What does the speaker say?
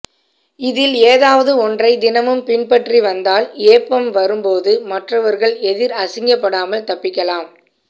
இதில் ஏதாவது ஒற்றை தினமும் பின்பற்றி வந்தால் ஏப்பம் வரும் போது மற்றவர் எதிர் அசிங்கப்படாமல் தப்பிக்கலாம்